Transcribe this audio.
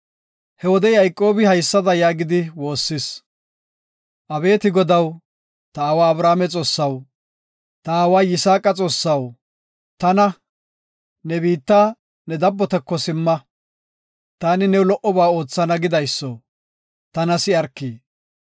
He wode Yayqoobi haysada yaagidi woossis, “Abeeti Godaw, ta aawa Abrahaame Xoossaw, ta aawa Yisaaqa Xoossaw, tana, ‘Ne biitta, ne dabbotako simma, taani new lo77oba oothana gidayso, tana si7arki’,